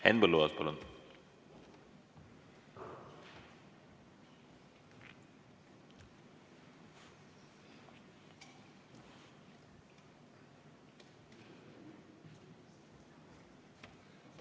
Henn Põlluaas, palun!